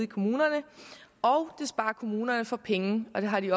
kommunerne og det sparer kommunerne for penge og det har de